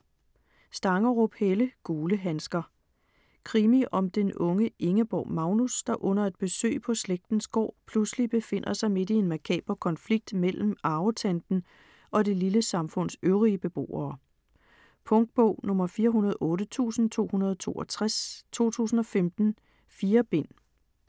Stangerup, Helle: Gule handsker Krimi om den unge Ingeborg Magnus, der under et besøg på slægtens gård, pludselig befinder sig midt i en makaber konflikt mellem arvetanten og det lille samfunds øvrige beboere. Punktbog 408262 2015. 4 bind.